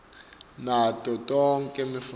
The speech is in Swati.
nato tonkhe timfuneko